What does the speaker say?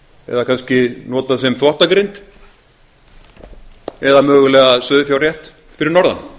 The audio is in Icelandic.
eða kannski notað sem þvottagrind eða mögulega sauðfjárrétt fyrir norðan